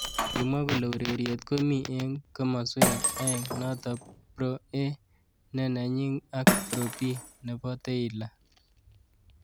Kimwa kole ureriet komi eng kimoswek aeng notok Pro A ne nenyi ak Pro B nebo Tylor.